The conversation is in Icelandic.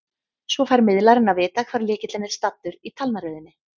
Svo fær miðlarinn að vita hvar lykillinn er staddur í talnaröðinni.